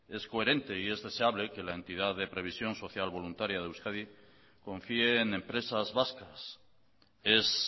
es coherente y es deseable que la entidad de previsión social voluntaria de euskadi confíe en empresas vascas es